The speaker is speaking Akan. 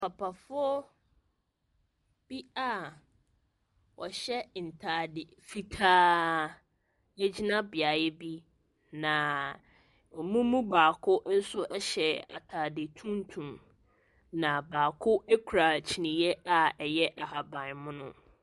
Papafoɔ bi a wɔhyɛ ntade fitaaaa, wɔgyina beaeɛ bi, na wɔn mu baako nso hyɛ atade tuntum. Na baako kura kyiniiɛ a ɛyɛ ahabammono.